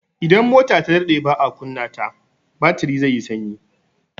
Idan mota ta daɗe baa kunna ta, batiri zai sanyi.